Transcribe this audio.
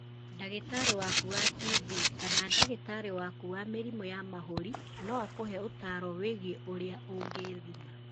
Ndagĩtarĩ waku wa TB kana ndagĩtarĩ waku wa mĩrimũ ya mahũri no akũhe ũtaaro wĩgiĩ ũrĩa ũngĩthima